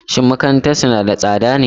Shin makarantarsu na da tsada ne?